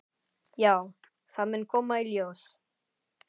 Já, það mun koma í ljós.